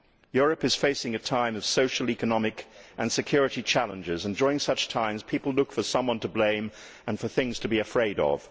Europe is facing a time of social, economic and security challenges, and during such times people look for someone to blame and for things to be afraid of.